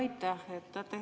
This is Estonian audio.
Aitäh!